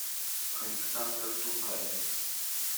александр тукаев